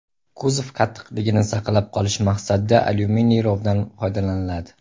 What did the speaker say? Kuzov qattiqligini saqlab qolish maqsadida alyuminiy romdan foydalaniladi.